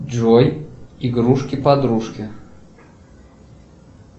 джой игрушки подружки